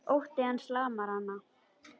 Ótti hans lamar hana.